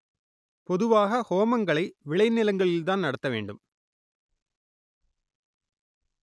பொதுவாக ஹோமங்களை விளை நிலங்களில்தான் நடத்த வேண்டும்